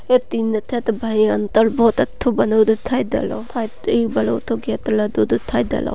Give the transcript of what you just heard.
ये तीन दिखाई दे रहो।